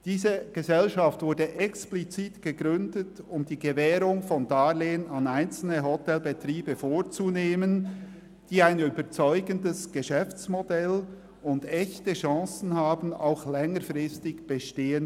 Diese Gesellschaft wurde explizit gegründet, um die Gewährung von Darlehen an einzelne Hotelbetriebe vorzunehmen, die ein überzeugendes Geschäftsmodell und echte Chancen vorweisen, auch längerfristig zu bestehen.